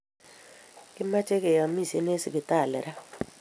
Kimache keyamishen en sipitali raa